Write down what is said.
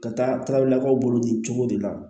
Ka taabilakaw bolo nin cogo de la